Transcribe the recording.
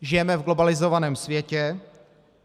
Žijeme v globalizovaném světě.